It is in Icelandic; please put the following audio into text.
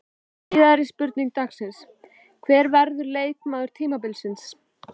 Síðari spurning dagsins: Hver verður leikmaður tímabilsins?